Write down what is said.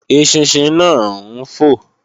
Eṣinṣin náà ń fò